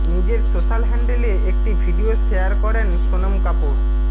নিজের সোশ্যাল হ্যান্ডেলে একটি ভিডিয়ো শেয়ার করেন সোনম কাপুর